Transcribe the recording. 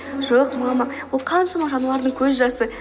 жоқ мама бұл қаншама жануардың көз жасы